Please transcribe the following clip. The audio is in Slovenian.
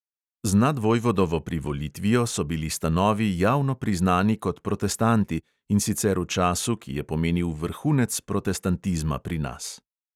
Z nadvojvodovo privolitvijo so bili stanovi javno priznani kot protestanti, in sicer v času, ki je pomenil vrhunec protestantizma pri nas.